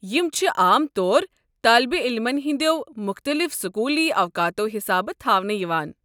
یم چھِ عام طور طٲلب علمن ہٕنٛدِیو مُختلِف سکوٗلی اوقاتو حسابہٕ تھاونہٕ یوان۔